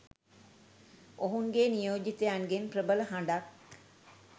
ඔවුන්ගේ නියෝජිතයින්ගෙන් ප්‍රබල හඬක්